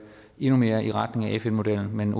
endnu mere i retning af fn modellen men